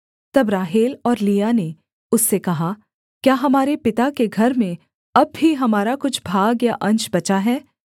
तब राहेल और लिआ ने उससे कहा क्या हमारे पिता के घर में अब भी हमारा कुछ भाग या अंश बचा है